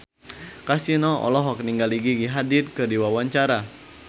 Kasino olohok ningali Gigi Hadid keur diwawancara